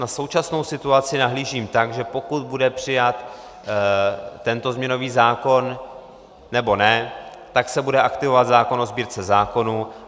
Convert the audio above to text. Na současnou situaci nahlížím tak, že pokud bude přijat tento změnový zákon, nebo ne, tak se bude aktivovat zákon o Sbírce zákonů.